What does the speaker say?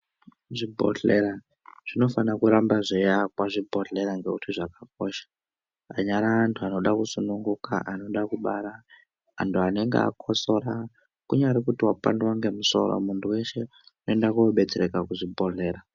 Zvi bhohlera zvinofana kuramba zveiakwa zvibhohlera ngekuti zvakakosha anyari antu anoda kusununguka anoda kubara antu anenge akosora kunyari kuti wapandwa nemusoro muntu wese unoende kobetsereke kuzvi bhohlera